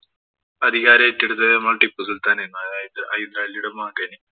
അധികാരം ഏറ്റെടുത്തത് നമ്മുടെ ടിപ്പു സുല്‍ത്താന്‍ ആയിരുന്നു. അതായത് ഹൈദരാലിയുടെ മകന്.